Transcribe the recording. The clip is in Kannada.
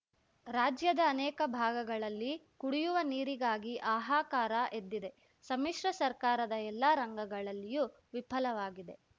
ರಾಜ್ಯದ ಅನೇಕ ಭಾಗಗಳಲ್ಲಿ ಕುಡಿಯುವ ನೀರಿಗಾಗಿ ಹಾಹಾಕಾರ ಎದ್ದಿದೆ ಸಮ್ಮಿಶ್ರ ಸರ್ಕಾರದ ಎಲ್ಲ ರಂಗಗಳಲ್ಲಿಯೂ ವಿಫಲವಾಗಿದೆ